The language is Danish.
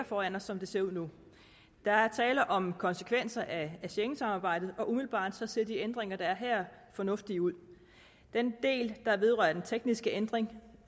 foran os som det ser ud nu der er tale om konsekvenser af schengensamarbejdet og umiddelbart ser de ændringer der er her fornuftige ud den del der vedrører den tekniske ændring